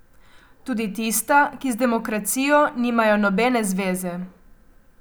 Tudi tista, ki z demokracijo nimajo nobene zveze.